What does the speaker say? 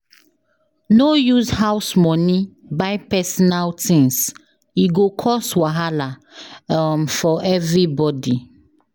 No use house money buy personal things, e go cause wahala um for everybody.